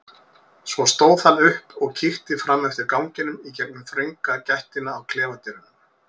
Svo stóð hann upp og kíkti fram eftir ganginum í gegnum þrönga gættina á klefadyrunum.